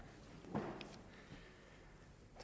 herre